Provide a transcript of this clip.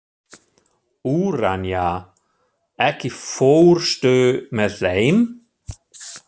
Úranía, ekki fórstu með þeim?